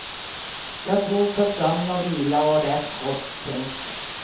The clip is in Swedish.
Jag tror på sömn och vila och rätt kost. punkt